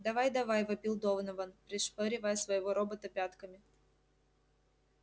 давай давай вопил донован пришпоривая своего робота пятками